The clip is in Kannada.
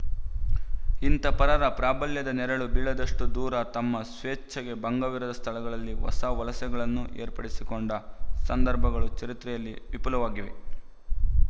ಇಂಥ ಪರರ ಪ್ರಾಬಲ್ಯದ ನೆರಳು ಬೀಳದಷ್ಟು ದೂರ ತಮ್ಮ ಸ್ವೇಚ್ಛೆಗೆ ಭಂಗವಿರದ ಸ್ಥಳದಲ್ಲಿ ಹೊಸ ವಲಸೆಗಳನ್ನು ಏರ್ಪಡಿಸಿಕೊಂಡ ಸಂದರ್ಭಗಳು ಚರಿತ್ರೆಯಲ್ಲಿ ವಿಪುಲವಾಗಿವೆ